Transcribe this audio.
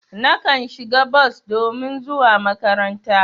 Nakan shiga bos domin zuwa makaranta.